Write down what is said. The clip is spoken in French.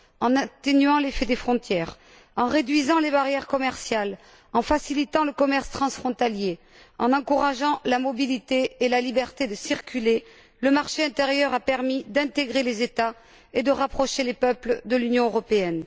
En atténuant l'effet des frontières, en réduisant les barrières commerciales, en facilitant le commerce transfrontalier, en encourageant la mobilité et la liberté de circuler, le marché intérieur a permis d'intégrer les États et de rapprocher les peuples de l'Union européenne.